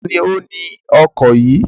Ta ni ó ni ọkọ̀ yìí?